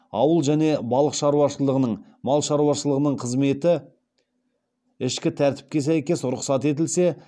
ауыл және балық шаруашылығының мал шаруашылығының қызметі ішкі тәртіпке сәйкес рұқсат етілсе